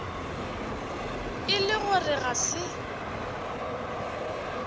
e le gore ga se